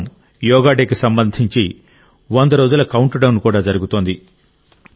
ప్రస్తుతం యోగా డేకి సంబంధించి వంద రోజుల కౌంట్డౌన్ కూడా జరుగుతోంది